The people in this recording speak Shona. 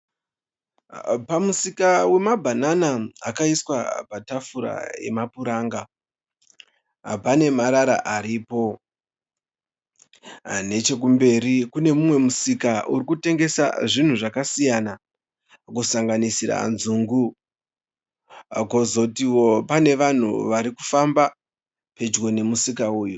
Pamusika wemabhanana akaiswa patafura yemapuranga. Pane marara aripo. Nechekumberi kune umwe musika uri kutengesa zvinhu zvakasiyana kusanganisira nzungu. Kwozotiwo pane vanhu vari kufamba pedyo nemusika uyu.